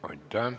Aitäh!